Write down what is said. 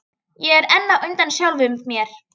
Ég er enn á undan sjálfum mér.